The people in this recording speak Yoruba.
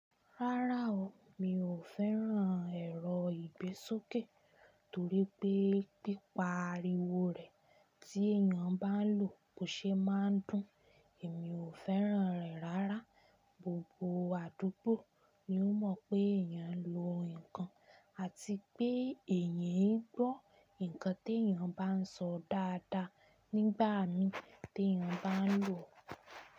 Rárá o, mi ò fẹ́ràn ẹ̀rọ ìgbésókè torípé pípa ariwo rẹ̀ tí èéyàn bá ń lò bó ṣe máa ń dùn, èmi ò fẹ́ràn rẹ̀ rárá. Gbogbo àdúgbò ni ó mọ̀ pé èéyàn ń lo nǹkan àti pé èyí ń gbọ́ nǹkan té èéyàn bá ń sọ dáadáa nígbà mí té èéyàn bá ń lò ọ́.